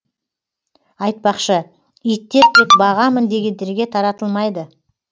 айтпақшы иттер тек бағамын дегендерге таратылмайды